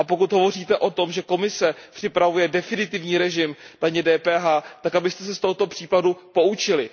Pokud hovoříte o tom, že Komise připravuje definitivní režim DPH, tak abyste se z tohoto případu poučili.